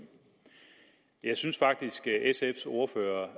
jeg synes faktisk at sfs ordfører